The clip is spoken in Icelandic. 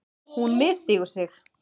Hún misstígur sig.